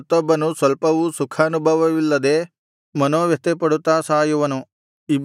ಮತ್ತೊಬ್ಬನು ಸ್ವಲ್ಪವೂ ಸುಖಾನುಭವವಿಲ್ಲದೆ ಮನೋವ್ಯಥೆಪಡುತ್ತಾ ಸಾಯುವನು